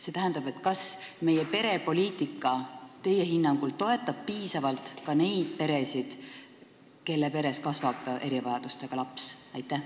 See tähendab, kas meie perepoliitika teie hinnangul toetab piisavalt ka neid peresid, kus kasvab erivajadusega laps?